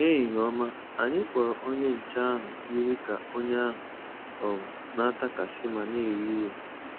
Ehihie ọma, anyị kpọrọ onye nche ahụ yiri ka onye ahụ um n'atakasị ma n'ewe iwe.